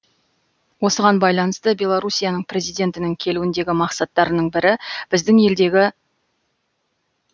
осыған байланысты беларусияның президентінің келуіндегі мақсаттарының бірі біздің елдегі